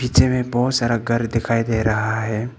पीछे में बहोत सारा घर दिखाई दे रहा है।